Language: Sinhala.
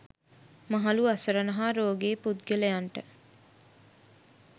මහලු අසරණ හා රෝගී පුද්ගලයන්ට